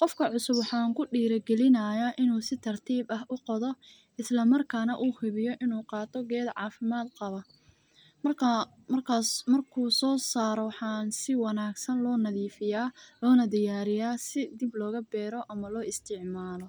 Qofka cusub waxan ku dira gelinaya inu si tartib u qodoo isla markana u hubiyo inu qato ged cafimad qaba , markas marku so saro waxan si wanagsan lo nadifiyaa lona diyariyaa si dib loga bero ama loo isticmalo.